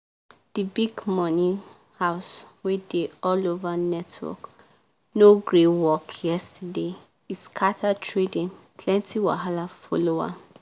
di big money house wey dey all over network no gree work yesterday e scatter trading plenty wahala follow am.